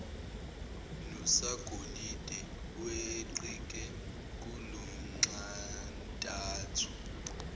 nosagolide weqike kulonxantathu